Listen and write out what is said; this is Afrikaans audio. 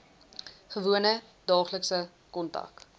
gewone daaglikse kontak